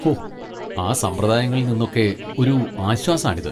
ഹോ! ആ സമ്പ്രദായങ്ങളിൽ നിന്നൊക്കെ ഒരു ആശ്വാസാണിത്.